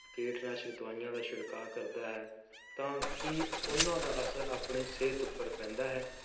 ਕੀਟਨਾਸ਼ਕ ਦਵਾਈਆਂ ਦਾ ਛਿੜਕਾਅ ਕਰਦਾ ਹੈ, ਤਾਂ ਕੀ ਉਹਨਾਂ ਦਾ ਅਸਰ ਆਪਣੀ ਸਿਹਤ ਉੱਪਰ ਪੈਂਦਾ ਹੈ,